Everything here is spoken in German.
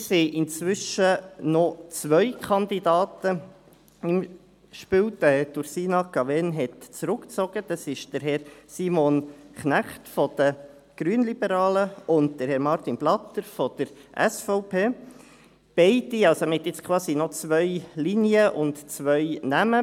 Hier sind inzwischen noch zwei Kandidaten im Spiel – Frau Ursina Cavegn hat zurückgezogen –, Herr Simon Knecht von den Grünliberalen und Herr Martin Blatter von der SVP, also noch zwei Linien und zwei Namen.